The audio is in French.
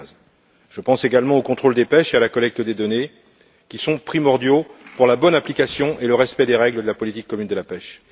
2015. Je pense également au contrôle des pêches et à la collecte des données, qui sont primordiaux pour la bonne application et le respect des règles de la politique commune de la pêche.